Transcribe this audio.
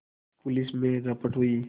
police में रपट हुई